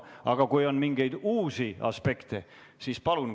Aga kui on mingeid uusi aspekte, siis palun.